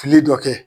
Fili dɔ kɛ